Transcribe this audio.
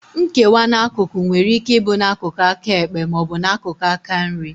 Nkewa n'akụkụ nwere ike ịbụ n'akụkụ aka ekpe ma ọ bụ n'akụkụ aka nri